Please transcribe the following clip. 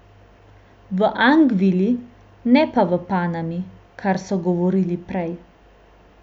V Angvili, ne pa v Panami, kar so govorili prej.